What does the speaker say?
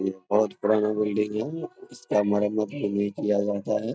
ये बहुत पुराना बिल्डिंग है इसका मरम्मत भी नहीं किया जाता है।